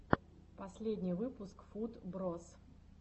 последний выпуск футброз